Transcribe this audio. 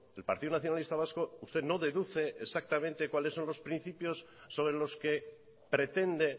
el partido nacionalista vasco usted no deduce exactamente cuáles son los principios sobre los que pretende